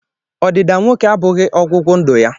Ọdịda nwoke abụghị ọgwụgwụ ndụ ya